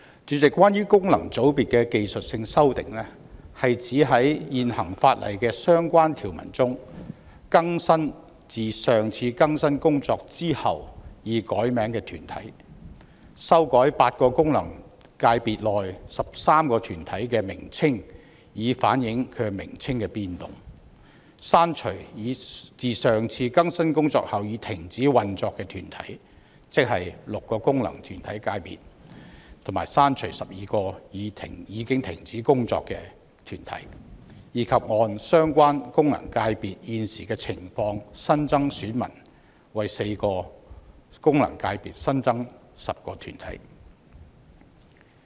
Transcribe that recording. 主席，關於功能界別的技術性修訂，是指在現行法例的相關條文中更新自上次更新工作後已改名的團體，修改8個功能界別內13個團體的名稱以反映其名稱的變動；刪除自上次更新工作後已停止運作的團體，即從6個功能界別刪除12個已停止運作的團體，以及按相關功能界別現時的情況新增選民，即為4個功能界別新增10個團體。